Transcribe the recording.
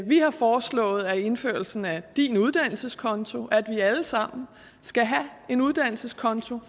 vi har foreslået indførelsen af din uddannelseskonto at vi altså alle sammen skal have en uddannelseskonto